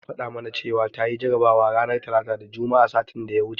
Maryam ta faɗa mana cewa tayi jarabawa ranar Talata da Juma'a satin da ya wuce.